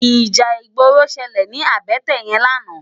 Íjà igbóró ṣëlé ni àbëtè yèn làná